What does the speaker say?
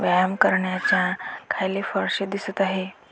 व्यायाम करण्याच्या खाली फरशी दिसत आहे.